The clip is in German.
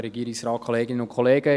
Er hat das Wort.